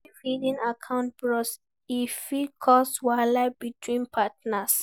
If hidden account burst, e fit cause wahala between partners